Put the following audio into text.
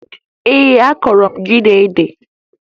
Ee, akụrụ m ji na ede